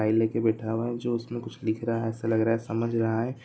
File लेके बैठा है जो उसमें कुछ लिख रहा है जो ऐसा लग रहा है कुछ समझ रहा है ।